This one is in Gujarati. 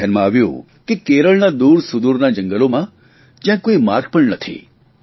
મારા ધ્યાનમાં આવ્યું કે કેરળના દૂરસુદૂરના જંગલોમાં જયાં કોઇ માર્ગ પણ નથી